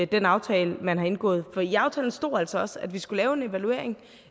den aftale man har indgået for i aftalen stod der altså også at vi skulle lave en evaluering